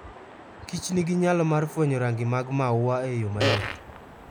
Kich nigi nyalo mar fwenyo rangi mag maua eyo mayot